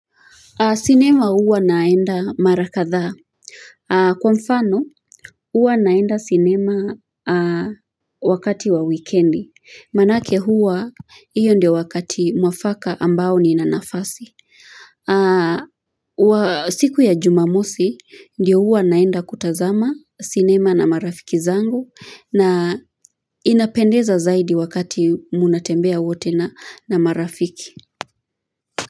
Sinema huwa naenda mara kadhaa. Kwa mfano, huwa naenda sinema wakati wa wikendi. Maanake huwa, hiyo ndio wakati mwafaka ambao nina nafasi. Siku ya jumamosi, ndio huwa naenda kutazama sinema na marafiki zangu na inapendeza zaidi wakati mnatembea wote na marafiki.